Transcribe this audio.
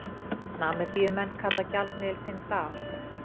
Namibíumenn kalla gjaldmiðil sinn dal.